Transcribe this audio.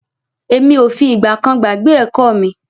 Emi o fi ìgbà kan gbàgbé ẹ̀kọ́ mi.